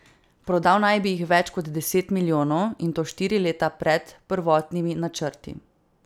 Prodal naj bi jih več kot deset milijonov, in to štiri leta pred prvotnimi načrti.